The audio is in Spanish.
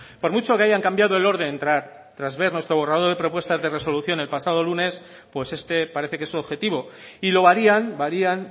por mucho que haya cambiado el orden tras ver nuestro borrador y propuestas de resoluciones el pasado lunes pues este parece que es su objetivo y lo varían varían